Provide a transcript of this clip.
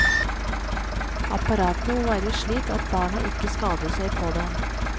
Apparatene må være slik at barna ikke skader seg på dem.